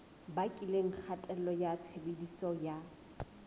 bakileng kgatello ya tshebediso ya